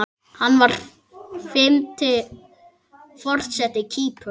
Hann var fimmti forseti Kýpur.